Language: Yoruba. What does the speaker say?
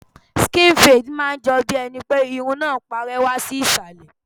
Skin fade máa ń jọ bí ẹni pé irun náà ń parẹ́ wá sí Ìsàlẹ̀.